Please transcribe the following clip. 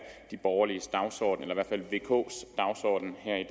de borgerliges dagsorden eller i hvert fald vks dagsorden her i